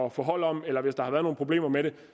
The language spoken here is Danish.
at få hold om eller hvis der har været nogle problemer med det